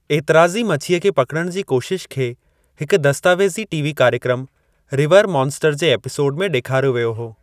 ऐतिराज़ी मछीअ खे पकिड़ण जी कोशिश खे हिक दस्तावेज़ी टीवी कार्यक्रमु, रिवर मॉन्स्टर्स जे एपिसोड में ॾेखारियो वियो हो।